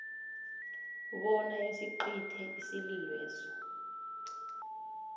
bona isicithe isililweso